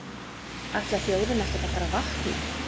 Ætlar þjóðin ekkert að fara að vakna?